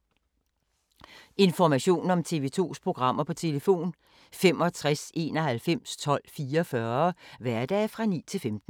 Information om TV 2's programmer: 65 91 12 44, hverdage 9-15.